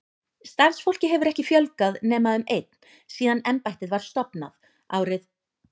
Starfsfólki hefur ekki fjölgað nema um einn síðan embættið var stofnað, árið